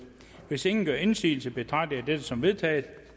hvis ingen gør indsigelse betragter jeg dette som vedtaget